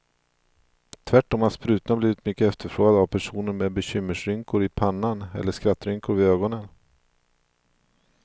Tvärtom har sprutorna blivit mycket efterfrågade av personer med bekymmersrynkor i pannan eller skrattrynkor vid ögonen.